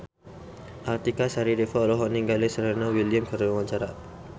Artika Sari Devi olohok ningali Serena Williams keur diwawancara